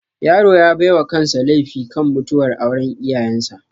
Yaro ya baiwa kansa laifi kan mutuwar auran iyayan sa